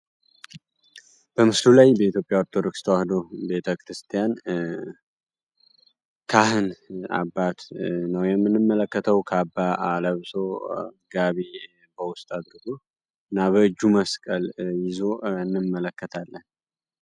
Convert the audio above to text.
በኢትዮጵያ ኦርቶዶክስ ተዋህዶ ቤተክርስቲያን ካህን አባት ነው የምንመለከተው ከአለምሶ ይዞ እንመለከታለን